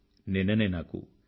నిన్ననే నాకు డి